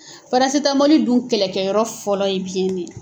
Parasitamɔli dun kɛlɛkɛyɔrɔ fɔlɔ ye biyɛn ne ye.